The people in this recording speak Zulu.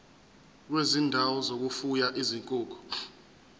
kwezindawo zokufuya izinkukhu